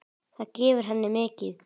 Það gefur henni mikið.